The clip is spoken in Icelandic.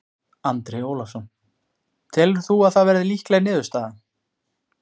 Andri Ólafsson: Telur þú að það verði líkleg niðurstaða?